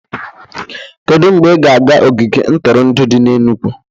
Kedu mgbe ị ga-aga ogige ntụrụndụ dị n'Enugwu